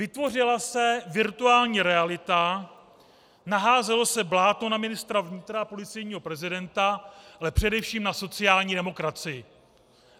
Vytvořila se virtuální realita, naházelo se bláto na ministra vnitra a policejního prezidenta, ale především na sociální demokracii.